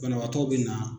Banabaatɔ be na